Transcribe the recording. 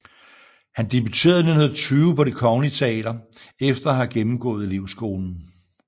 Han debuterede 1920 på Det kongelige Teater efter at have gennemgået elevskolen